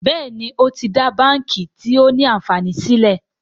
Béèni o tí dá bánkì tio ní ànfàní sílè.